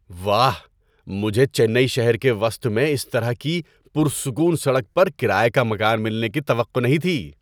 واہ! مجھے چنئی شہر کے وسط میں اس طرح کی پرسکون سڑک پر کرایے کا مکان ملنے کی توقع نہیں تھی۔